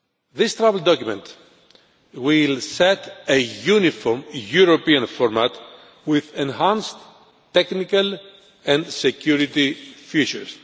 This travel document will set a uniform European format with enhanced technical and security features.